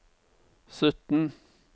sytten